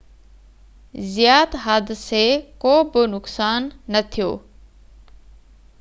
زيات حادثي ڪو به نقصان نه ٿيو